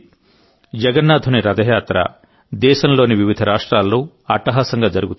జగన్నాథుని రథయాత్ర దేశంలోని వివిధ రాష్ట్రాల్లో అట్టహాసంగా జరుగుతుంది